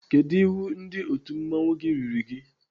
Kedụ iwu ndị otu mmanwụ gị riri gị?